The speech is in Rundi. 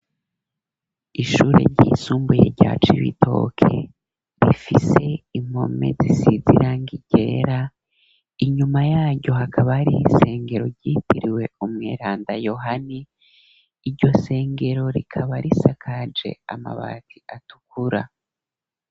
Ishure ryisumbuye rya Cibitoke rifise impome zisiz'irangi ryera, inyuma yaryo hakaba ari isengero ryitiriwe Umiranda Yohani, iryo sengero rikaba risakaje amabati atukura.